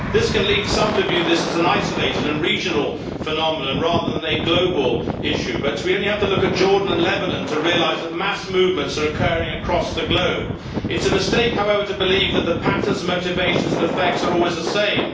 This can lead some to view this as an isolated and regional phenomenon rather than a global issue, but we only have to look at Jordan and Lebanon to realise that mass movements are occurring across the globe. It is a mistake, however, to believe that the patterns, motivations and effects are always the same.